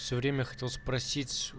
все время хотел спросить